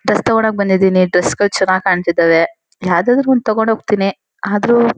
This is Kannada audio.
ಡ್ರೆಸ್ ತಗೋಣಕ್ ಬಂದಿದೀನಿ ಡ್ರೇಸ್ಗಳ್ ಚೆನ್ನಾಗ್ ಕಾಣ್ತಿದಾವೆ ಯಾವದಾದ್ರು ಒಂದ್ ತಗೊಂಡ್ ಹೋಗ್ತೀನಿ ಆದ್ರೂ.